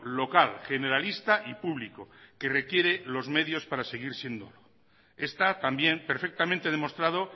local generalista y público que requiere los medios para seguir siendo está también perfectamente demostrado